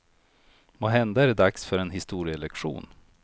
Måhända är det dags för en historielektion.